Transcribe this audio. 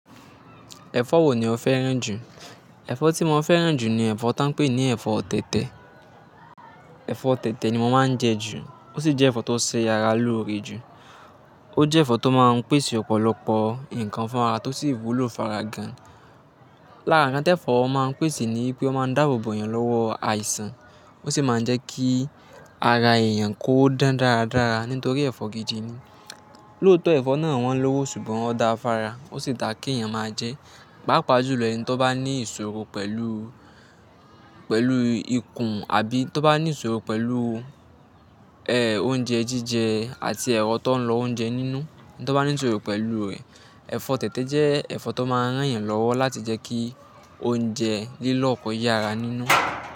Ẹ̀fọ́ wo ni o fẹ́ràn jù? Ẹ̀fọ́ tí mo máa ń fẹ́ràn jù ni ẹ̀fọ́ tá ń pè ní ẹ̀fọ́ tẹ̀tẹ̀. Ẹ̀fọ́ tẹ̀tẹ̀ ni mo máa ń jẹ jù, ó sì jẹ́ ẹ̀fọ́ tó ṣe ara lóore jù. Ó jẹ́ ẹ̀fọ́ tó máa ń pèsè ọ̀pọ̀lọpọ̀ nǹkan fún ara, tó sì wúlò fára gan. Lara ǹkan tí ẹ̀fọ́ máa ń pèsè ni pé ó máa ń dáàbòbò èèyàn lọ́wọ́ àìsàn. Ó sì máa ń jẹ́ kí ara èèyàn kó dán dáradára nítorí ẹ̀fọ́ gidi ni. Lóòtọ́ ẹ̀fọ́ náà wọ́n lọ́wọ́ ṣùgbọ́n ó dáa fára, ó sì da kí èèyàn máa jẹ. Pápa jùlọ ẹni tí ó bá ní ìṣòro pẹ̀lú, pẹ̀lú ikùn àbí tí ó bá ní ìṣòro pẹ̀lú, ẹ́, oúnjẹ jíjẹ àti ẹ̀rọ tó ń lọ oúnjẹ nínú. Tí ó bá ní ìṣòro pẹ̀lú rẹ̀, ẹ̀fọ́ tẹ̀tẹ̀ jẹ́ ẹ̀fọ́ tó máa ń rán èèyàn lọ́wọ́ láti jẹ́ kí oúnjẹ lílọ̀ kò yára nínú.